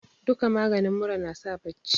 duka maganin mura nasa bacci